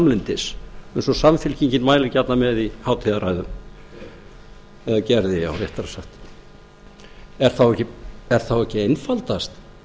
samlyndis eins og samfylkingin mælir gjarnan með í hátíðarræðum eða gerði já réttara sagt er þá ekki einfaldast